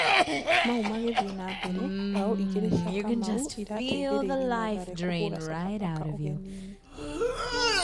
Mau magĩthiĩ na mbere mbao igĩrĩ cia Kamau irateithĩrĩirie Mathare kũhũra Sofapaka ũgeninĩ.